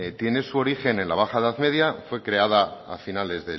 tiene su origen en la baja edad media fue creada a finales